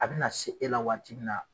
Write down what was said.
A bɛna se e la waati min na